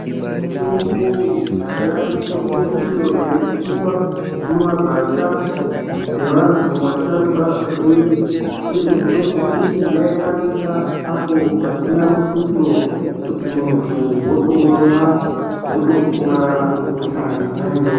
Mitombo yakudhaya mitombo iyo yaitsiva mumagwasha nevantu vasharuka kwatiri, uye mitombo iyi yaivanika apo pasina mutuso. Kuti muntu votoumwa votopora kuhosha yonaiyoyo.